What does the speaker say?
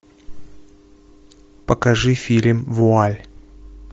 покажи фильм вуаль